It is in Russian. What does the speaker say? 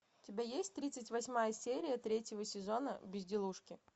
у тебя есть тридцать восьмая серия третьего сезона безделушки